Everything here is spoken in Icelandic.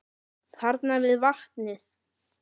Þarna við vatnið.